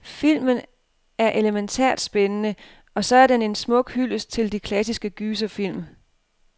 Filmen er elemæntært spændende, og så er den en smuk hyldest til de klassiske gyserfilm.